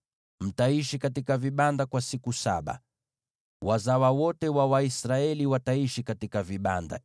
Mtaishi katika vibanda kwa siku saba: Wazawa wote wa Waisraeli wataishi katika vibanda,